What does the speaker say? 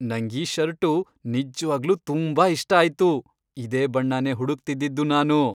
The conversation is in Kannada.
ನಂಗೀ ಷರ್ಟು ನಿಜ್ವಾಗ್ಲೂ ತುಂಬಾ ಇಷ್ಟ ಆಯ್ತು. ಇದೇ ಬಣ್ಣನೇ ಹುಡುಕ್ತಿದ್ದಿದ್ದು ನಾನು.